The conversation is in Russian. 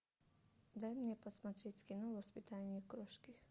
дай мне посмотреть кино воспитание крошки